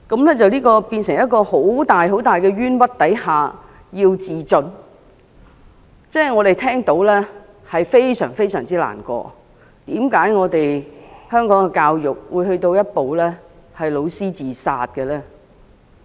她在承受這麼大的冤屈下自盡，我們聽到後，也感到非常難過，為何香港的教育會走到教師自殺這地步？